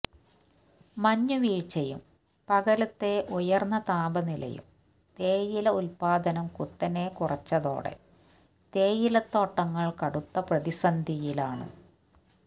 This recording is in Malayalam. മഞ്ഞുവീഴ്ചയും പകലത്തെ ഉയർന്ന താപനിലയും തേയില ഉത്പാദനം കുത്തനെ കുറച്ചതോടെ തേയിലത്തോട്ടങ്ങൾ കടുത്ത പ്രതിസന്ധിയിലാണ്